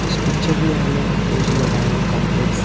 इस पिक्चर में हमें तेज नारायण कॉम्प्लेक्स --